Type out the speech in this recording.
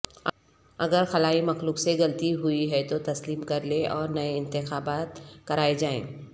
ااگر خلائی مخلوق سے غلطی ہوئی ہے تو تسلیم کرلے اور نئے انتخابات کرائے جائیں